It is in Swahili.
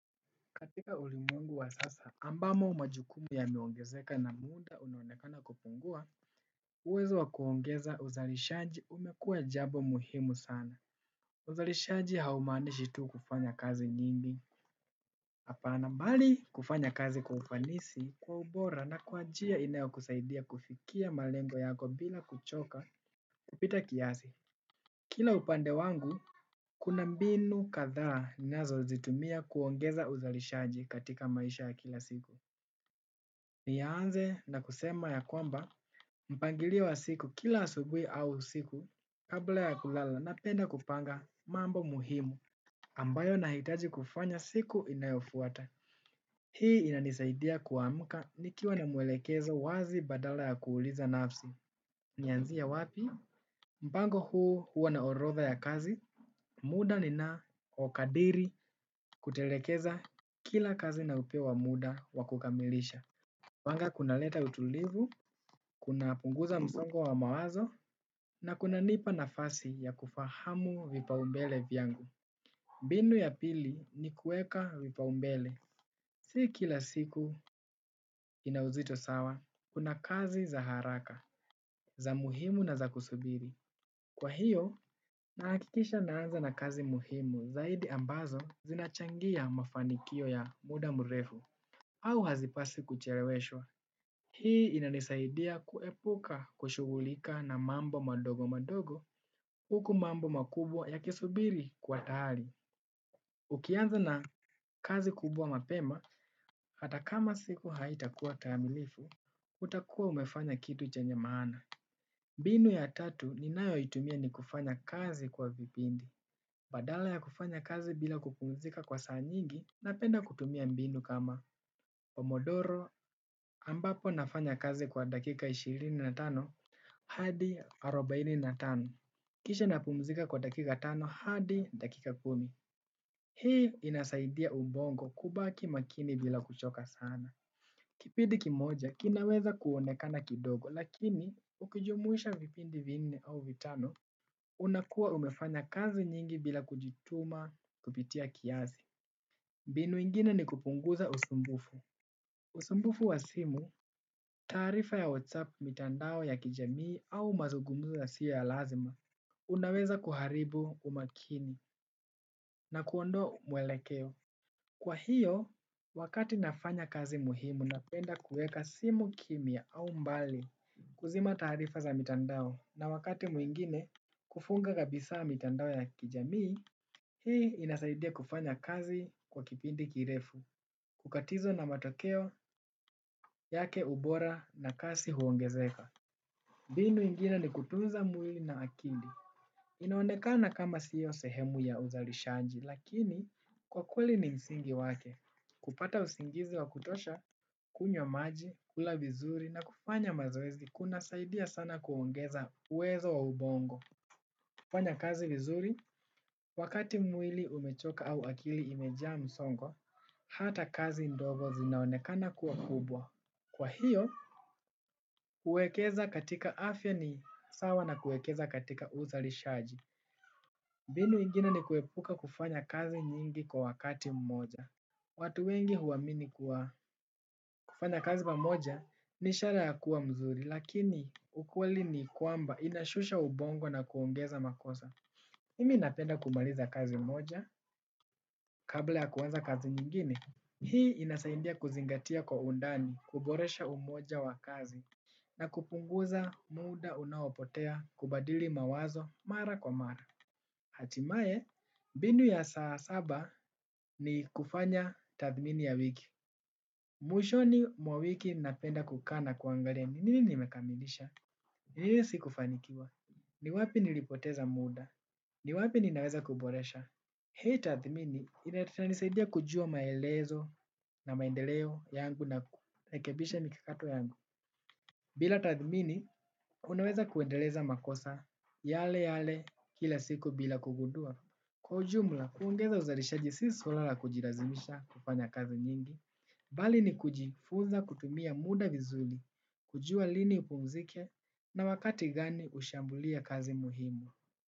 Katika ulimwengu wa sasa ambamo majukumu yameongezeka na muda unaonekana kupungua. Uwezo wa kuongeza uzalishaji umekuwa jambo muhimu sana. Uzalishaji haumanishi tu kufanya kazi nyingi. Hapana bali kufanya kazi kwa ufanisi kwa ubora na kwa njia inayokusaidia kufikia malengo yako bila kuchoka kupita kiasi. Kila upande wangu kuna mbinu kadhaa ninazozitumia kuongeza uzalishaji katika maisha ya kila siku. Nianze na kusema ya kwamba mpangilio wa siku kila asubuhi au siku kabla ya kulala napenda kupanga mambo muhimu ambayo nahitaji kufanya siku inayofuata. Hii inanisaidia kuamka nikiwa na mwelekezo wazi badala ya kuuliza nafsi. Nianzie wapi? Mpango huu huwa na orodha ya kazi. Muda ninaokadiri kutelekeza kila kazi na upya wa muda wa kukamilisha. Huwanga kunaleta utulivu, kunapunguza msongo wa mawazo, na kunanipa nafasi ya kufahamu vipaombele vyangu. Binu ya pili ni kuweka vipaombele. Si kila siku ina uzito sawa, kuna kazi za haraka, za muhimu na za kusubiri. Kwa hiyo, nahakikisha naanza na kazi muhimu zaidi ambazo zinachangia mafanikio ya muda mrefu. Au hazipaswi kucheleweshwa, hii inanisaidia kuepuka kushughulika na mambo madogo madogo huku mambo makubwa yakisubiri kwa tayari. Ukianza na kazi kubwa mapema, hata kama siku haitakuwa kamilifu, utakuwa umefanya kitu chenye maana. Mbinu ya tatu ninayoitumia ni kufanya kazi kwa vipindi. Badala ya kufanya kazi bila kupumzika kwa saa nyingi, napenda kutumia mbinu kama. Pomodoro ambapo nafanya kazi kwa dakika ishirini na tano, hadi arobaini na tano. Kisha napumzika kwa dakika tano, hadi dakika kumi. Hii inasaidia ubongo kubaki makini bila kuchoka sana. Kipindi kimoja, kinaweza kuonekana kidogo, lakini ukijumuisha vipindi vinne au vitano. Unakuwa umefanya kazi nyingi bila kujituma kupita kiasi mbinu ingine ni kupunguza usumbufu. Usumbufu wa simu, taarifa ya WhatsApp mitandao ya kijamii au mazugumzo yasiyo ya lazima, unaweza kuharibu umakini na kuondoa mwelekeo. Kwa hiyo, wakati nafanya kazi muhimu, napenda kuweka simu kimya au mbali kuzima taarifa za mitandao. Na wakati mwingine kufunga kabisa mitandao ya kijamii, hii inasaidia kufanya kazi kwa kipindi kirefu, kukatizwa na matokeo yake ubora na kasi huongezeka. Mbinu ingine ni kutunza mwili na akili. Inaonekana kama sio sehemu ya uzalishaji, lakini kwa kweli ni msingi wake. Kupata usingizi wa kutosha kunywa maji, kula vizuri na kufanya mazoezi kunasaidia sana kuongeza uwezo wa ubongo. Kufanya kazi vizuri, wakati mwili umechoka au akili imejaa msongo, hata kazi ndogo zinaonekana kuwa kubwa. Kwa hiyo, kuwekeza katika afya ni sawa na kuwekeza katika uzalishaji. Mbinu ingine ni kuepuka kufanya kazi nyingi kwa wakati mmoja. Watu wengi huamini kuwa kufanya kazi pamoja ni ishara ya kuwa mzuri, lakini ukweli ni kwamba inashusha ubongo na kuongeza makosa. Mimi napenda kumaliza kazi moja, kabla ya kuanza kazi nyingine. Hii inasaidia kuzingatia kwa undani, kuboresha umoja wa kazi, na kupunguza muda unaopotea kubadili mawazo mara kwa mara. Hatimaye, mbinu ya saa saba ni kufanya tathmini ya wiki. Mwishoni wa wiki napenda kukaa na kuangalia nini nimekamilisha? Ni nini sikufanikiwa? Ni wapi nilipoteza muda? Ni wapi ninaweza kuboresha? Hii tathmini inanisaidia kujua maelezo na maendeleo yangu na kurekebisha mikakato yangu. Bila tathmini, unaweza kuendeleza makosa yale yale kila siku bila kugundua. Kwa ujumla, kuongeza uzalishaji si swala la kujilazimisha kufanya kazi nyingi, bali ni kujifunza kutumia muda vizuri, kujua lini upumzike na wakati gani ushambulie kazi muhimu.